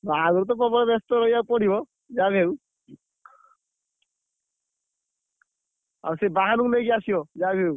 ବାହାଘରକୁ ତ ପ୍ରବଳ ବେସ୍ତ ରହିବାକୁ ପଡିବ, ଯାହା ବି ହଉ, ଆଉ ସେ ବାହାନ କୁ ନେଇକି ଆସିବା ଯାହାବି ହଉ।